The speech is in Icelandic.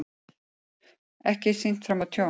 Ekki sýnt fram á tjón